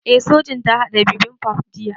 Eh Sojin ta haɗa bibimbap jiya